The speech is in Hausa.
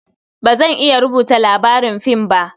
Ba zan iya rubuta labarin fim ba.